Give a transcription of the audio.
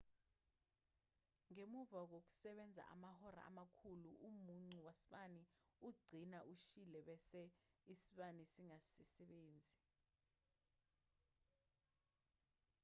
ngemuva kokusebenza amahora amakhulu umucu wasibani ugcina ushile bese isibani singasasebenzi